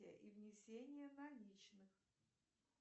и внесение наличных